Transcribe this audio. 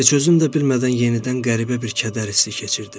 Heç özüm də bilmədən yenidən qəribə bir kədər hissi keçirdim.